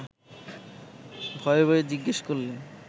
ভয়ে ভয়ে জিজ্ঞেস করলেন